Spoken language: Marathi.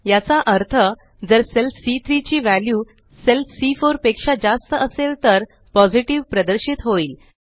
याचा अर्थ जर सेल सी3 ची वॅल्यू सेल सी4 पेक्षा जास्त असेल तर पॉझिटिव्ह प्रदर्शित होईल